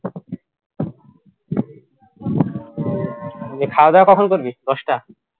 নিয়ে খাওয়া দাওয়া কখন করবি দশটা